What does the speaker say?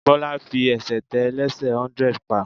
Bọ́lá fi ẹsẹ̀ tẹ ẹlẹ́sẹ̀ hundred pa.